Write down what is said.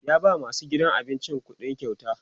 ya ba masu aikin gidan abincin ƙuɗikyauta